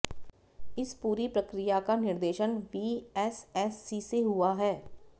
इस पूरी प्रक्रिया का निर्देशन वीएसएससी से हुआ है